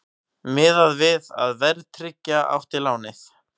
Miðað við að verðtryggja átti lánið